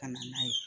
Ka na n'a ye